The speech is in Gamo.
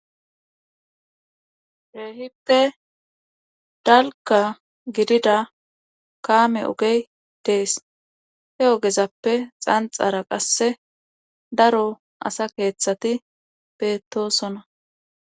Keehippe dalgga gidida kaame ogey dees he ogezappe xanxxara qasse daro asa keethati beettoosona.